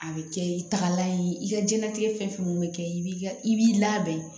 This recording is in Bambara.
A bɛ kɛ i tagalan ye i ka jɛnatigɛ fɛn fɛn bɛ kɛ i b'i ka i b'i labɛn